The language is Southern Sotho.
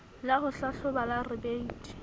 la ho hlahloba la rebate